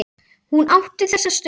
Hún átti þessa stund.